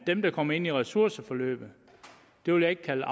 dem der kommer ind i ressourceforløbet vil jeg ikke kalde